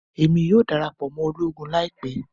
Emi yoo darapọ mọ ologun laipẹ